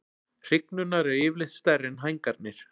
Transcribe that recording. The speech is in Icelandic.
Hrygnurnar eru yfirleitt stærri en hængarnir.